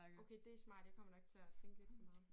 Okay det smart jeg kommer nok til at tænke lidt for meget